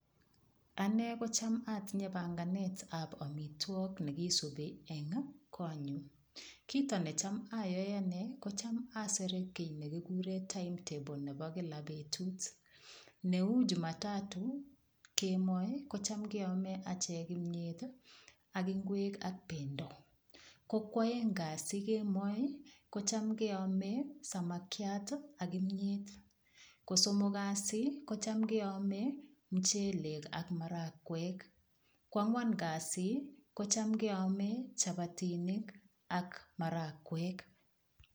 Ane kocham atinye panganetab omitwok nekisubi eng' konyu kito necham ayoe ane kocham asere kii nekikure timetable nebo kila betut neu jumatatu kemoi kochom keome ache kimiyet ak ng'wek ak pendo ko kwoek kasi kemoi kocham keome samakiat ak kimiyet kosomok kasi kocham keome michelek ak marakwek koang'wan kasi kocham keome chapatinik ak marakwek